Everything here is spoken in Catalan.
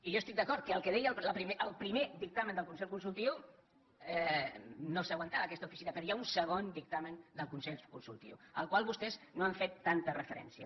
i jo estic d’acord que en el que deia el primer dictamen del consell consultiu no s’aguantava aquesta oficina però hi ha un segon dictamen del consell consultiu al qual vostès no han fet tanta referència